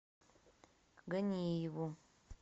ганиеву